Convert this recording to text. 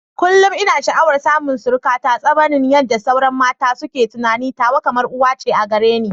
Kullum ina sha'awar samun surukata, sabanin yadda sauran mata suke tunani, tawa kamar uwa ce a gare ni.